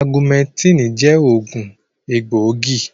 Augumẹntínì jẹ́ òògùn egbòogi.